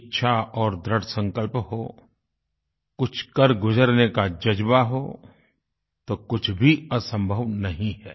इच्छा और दृढ़ संकल्प हो कुछ कर गुजरने का ज़ज्बा हो तो कुछ भी असंभव नहीं है